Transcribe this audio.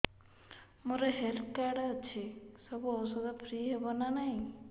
ମୋର health card ଅଛି ସବୁ ଔଷଧ ଫ୍ରି ହବ ନା ନାହିଁ